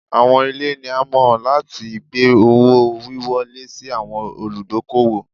Awọn ile ni a mọ lati gbe owo-wiwọle si awọn oludokoowo